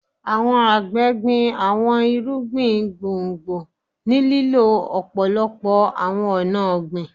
Àwọn àgbẹ gbin àwọn irúgbìn gbòngbò ni lílo òpòlopo awọn ọna ogbin